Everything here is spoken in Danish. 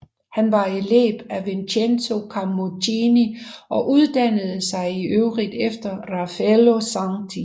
Han var elev af Vincenzo Camuccini og uddannede sig i øvrigt efter Raffaello Santi